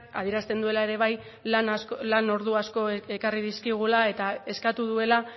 adierazten duela ere bai lan ordu asko ekarri dizkigula eta eskatu duela